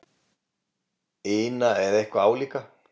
ina eða eitthvað álíka.